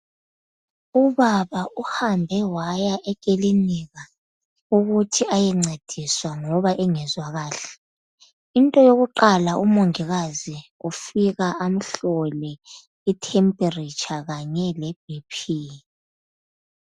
Ubaba uhambe waya ekilinika ukuthi ayencediswa ngoba engezwa kahle into yokuqala umongikazi ufika amhlole ukutshisa komzimba kanye lomfutho wegazi.